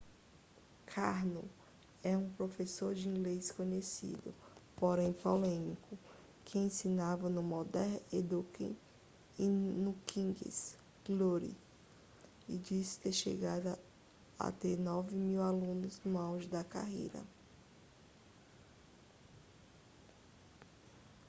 karno é um professor de inglês conhecido porém polêmico que ensinava no modern education e no king's glory e disse ter chegado a ter 9 mil alunos no auge da carreira